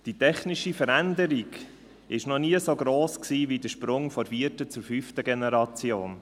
Die technische Veränderung war noch nie so gross wie beim Sprung von der vierten zur fünften Generation.